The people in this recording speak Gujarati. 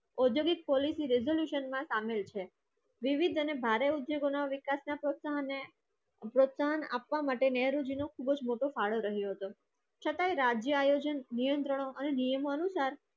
ઔદ્યોગિક પોલીસ resolution માં સામેલ છે. વિવિધ અને ભારે ઉદ્યોગોના વિકાસના પ્રોત્સાહન અને પ્રોત્સાહન આપવા માટે મોટો ફાળો રહ્યો હતો. નિયમો અનુસાર